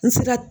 N sera